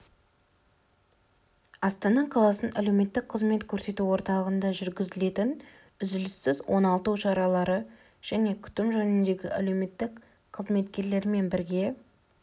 астана қаласының әлеуметтік қызмет көрсету орталығында жүргізілетін үзіліссіз оңалту шаралары және күтім жөніндегі әлеуметтік қызметкерлермен бірге